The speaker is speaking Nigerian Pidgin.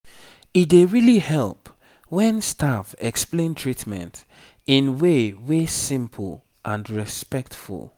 e dey really help when staff explain treatment in way wey simple and respectful